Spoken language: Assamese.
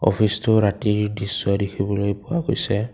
অফিচটো ৰাতিৰ দৃশ্য দেখিবলৈ পোৱা গৈছে।